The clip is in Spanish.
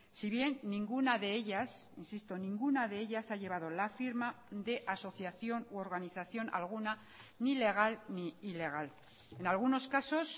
si bien ninguna de ellas insisto ninguna de ellas ha llevado la firma de asociación u organización alguna ni legal ni ilegal en algunos casos